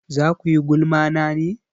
Za kuyi gulma na ne?